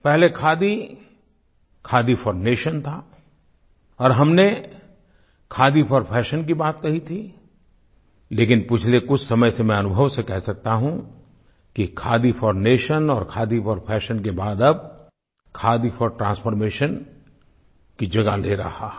पहले khadi khadi for nation था और हमने खादी फोर फैशन की बात कही थी लेकिन पिछले कुछ समय से मैं अनुभव से कह सकता हूँ कि खादी फोर नेशन और खादी फोर फैशन के बाद अब खादी फोर ट्रांसफॉर्मेशन की जगह ले रहा है